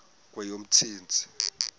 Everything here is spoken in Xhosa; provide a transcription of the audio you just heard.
kweyomntsintsi